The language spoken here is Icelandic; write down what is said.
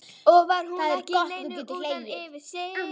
Og var hún ekki í neinu utan yfir sig?